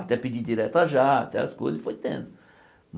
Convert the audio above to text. Até pedir diretas já, até as coisas, foi tendo.